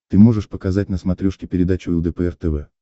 ты можешь показать на смотрешке передачу лдпр тв